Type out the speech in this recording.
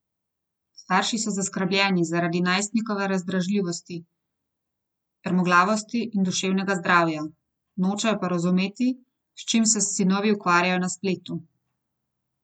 Starši so zaskrbljeni zaradi najstnikove razdražljivosti, trmoglavosti in duševnega zdravja, nočejo pa razumeti, s čim se sinovi ukvarjajo na spletu.